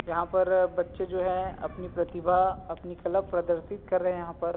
यहाँ पर बच्चे जो है अपनी प्रतिभा अपनी कला प्रदशित कर रहे है यहाँ पर--